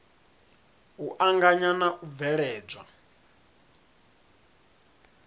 u anganya na u bveledzwa